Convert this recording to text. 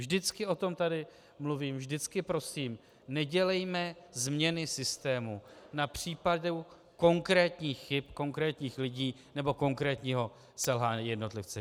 Vždycky o tom tady mluvím, vždycky prosím, nedělejme změny systému na případu konkrétních chyb konkrétních lidí nebo konkrétního selhání jednotlivce.